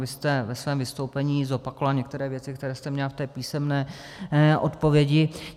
Vy jste ve svém vystoupení zopakovala některé věci, které jste měla v té písemné odpovědi.